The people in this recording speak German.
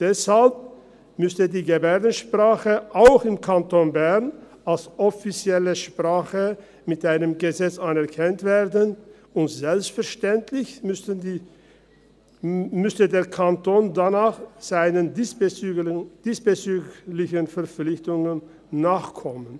Deshalb müsste die Gebärdensprache auch im Kanton Bern als offizielle Sprache mit einem Gesetz anerkannt werden, und selbstverständlich müsste der Kanton danach seinen diesbezüglichen Verpflichtungen nachkommen.